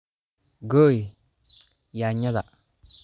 Gooy yaanyada.